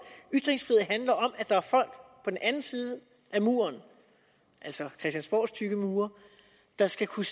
at der er folk på den anden side af muren altså christiansborgs tykke mure der skal kunne